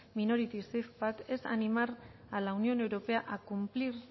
minority safepack es animar a la unión europea a cumplir